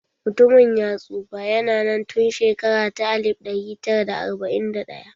Mutumin ya tsufa, ya na nan tun shekara ta alif ɗari tara da arba'in da ɗaya